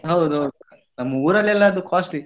ಹೌದೌದು ನಮ್ಮೂರಲ್ಲಿ ಎಲ್ಲ ಅದು costly .